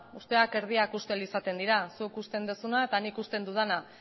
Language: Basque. usteak erdiak ustel izaten dira zuk usten duzuna eta nik usten dudana